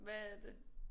Hvad er det?